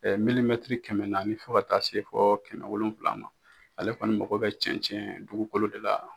kɛmɛ naani fo ka taa se fɔ kɛmɛ wolonwula ma ale kɔni mago bɛ cɛncɛn dugukolo de la.